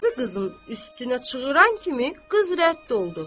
Qazı qızın üstünə çığıran kimi qız rədd oldu.